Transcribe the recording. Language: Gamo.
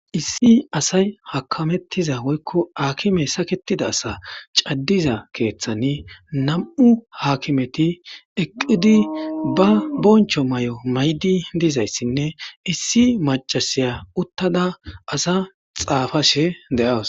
Issi asay hakamettiza woykko aakime saketida asa caddiza keeththani nam7u haakimeti eqqidi ba boncho may7o maydi dizayssinne issi macasiya uttada asa xaafashe de7aas.